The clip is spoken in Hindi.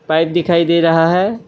पाइप दिखाई दे रहा है।